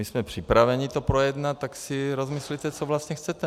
My jsme připraveni to projednat, tak si rozmyslete, co vlastně chcete.